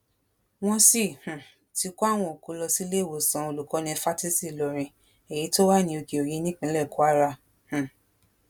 wọn sì um ti kó àwọn òkú lọ síléèwòsàn olùkọni fásitì ìlọrin èyí tó wà ní òkèòyí nípínlẹ̀ kwara um